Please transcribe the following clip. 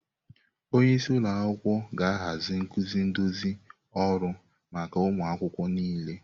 Onye isi ụlọ akwụkwọ ga-ahazi nkuzi nduzi ọrụ maka ụmụ akwụkwọ niile.